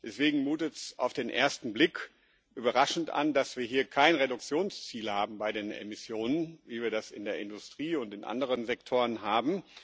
Deswegen mutet es auf den ersten Blick überraschend an, dass wir hier keine Reduktionsziele haben bei den Emissionen, wie wir das in der Industrie und in anderen Sektoren haben.